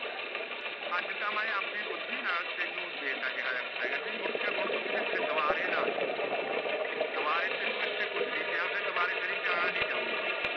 ਅਜੇ ਤਾ ਮੈ ਆਪਣੀ ਬੁਖਦੀ ਨਾਲ ਤੈਨੂ ਦੇ ਤਾ ਜੋ ਕੁਛ ਹੈਗਾ ਸੀ ਮੁੜ ਕੇ ਹੁਣ ਤੂ ਕਿਥੇ ਦੁਬਾਰੇ ਨਾ ਅਜੈ